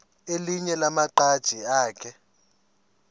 elinye lamaqhaji akhe